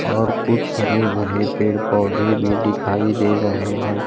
और कुछ हरे भरे पेड़ पौधे भी दिखाई दे रहे हैं।